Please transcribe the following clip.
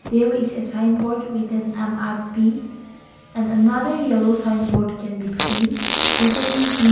There is a sign board with on M_R_P and another yellow sign board can be seen written B.